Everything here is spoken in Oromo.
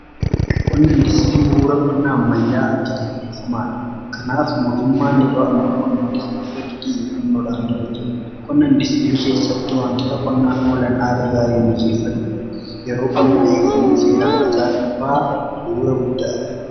qonna indistirii buura qonnaa ammayyaa akka ta'e beekamaadha. kanaaf mootummaan yeroo ammaa qonna indistiirii irratti xiyyeeffannodhaanii hojjeta. qonna indistirii keessatti waantota qonnaaf oolan haala gaariin mijjeeffadhu yeroo qonnaa eeganii seeraan facaasuunfaa bu'uura guddaadha.